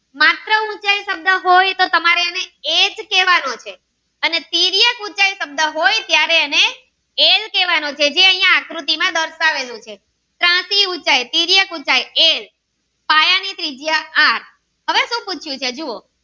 અને પીડીએફ શબ્દ હોય ત્યારે એને એલ કેહ્વાનો કે જે આકૃતિ માં દર્શાવેલું છે ત્રાંસી ઉંચાઈ સીર્ય ઉંચાઈ